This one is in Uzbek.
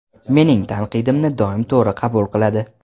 Mening tanqidimni doim to‘g‘ri qabul qiladi.